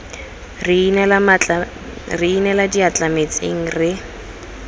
re inela diatla metsing re